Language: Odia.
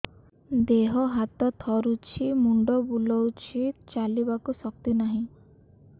ଦେହ ହାତ ଥରୁଛି ମୁଣ୍ଡ ବୁଲଉଛି ଚାଲିବାକୁ ଶକ୍ତି ନାହିଁ